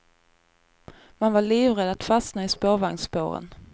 Man var livrädd att fastna i spårvagnsspåren.